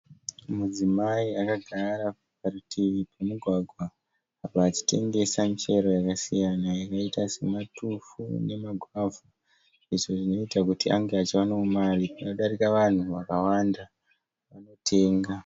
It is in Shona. Mudzimai akagara parutivi pomugwagwa apo achitengesa michero yakasiyana yakaita sematufu nemagwavha, izvo zvinoita kuti ange achiwanawo mari panodarika vanhu vakawanda vanotenga.